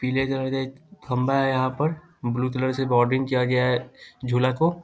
पीले कलर का एक खम्बा है यहाँ पर ब्लू कलर से बॉर्डरिंग किया गया है झुला को।